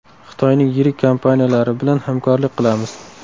Xitoyning yirik kompaniyalari bilan hamkorlik qilamiz.